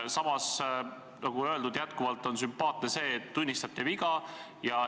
Samas, nagu öeldud, on sümpaatne see, et te tunnistate viga.